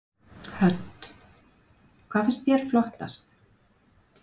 Hödd: Hvað finnst þér flottast?